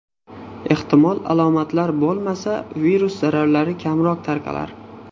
Ehtimol, alomatlar bo‘lmasa, virus zarralari kamroq tarqalar?